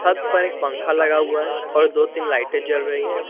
छत पर एक पंखा लगा हुआ है और दो तीन लाइटें जल रही हैं।